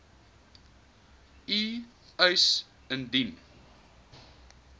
u eis indien